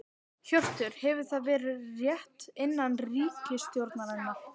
Hjörtur: Hefur það verið rætt innan ríkisstjórnarinnar?